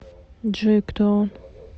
джой кто он